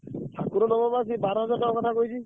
ଠାକୁର ନବ ବା ସେଇ ବାରହଜାର ଟଙ୍କା କଥା କହିଛି।